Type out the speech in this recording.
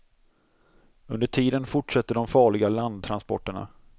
Under tiden fortsätter de farliga landtransporterna.